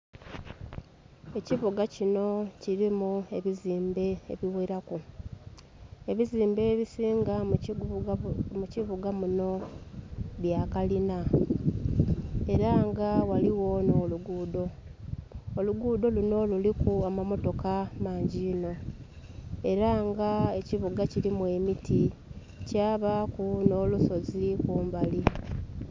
Ekibuga kinho kilimu ebizimbe ebigheraku. Ebizimbe ebisinga mu kibuga munho bya kalina, era nga ghaligho nh'oluguudo. Oluguudo lunho luliku amamotoka mangi inho era nga ekibuga kilimu emiti kyabaaku nh'olusozi kumbali.